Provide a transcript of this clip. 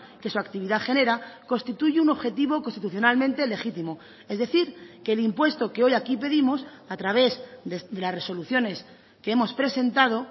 que su actividad genera constituye un objetivo constitucionalmente legítimo es decir que el impuesto que hoy aquí pedimos a través de las resoluciones que hemos presentado